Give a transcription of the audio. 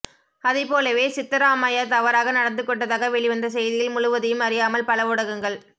அதைபோலவே சித்தராமையா தவறாக நடந்து கொண்டதாக வெளிவந்த செய்தியில் முழுவதையும் அறியாமல் பல ஊடகங்கள்